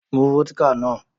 Mú vódíkà náà!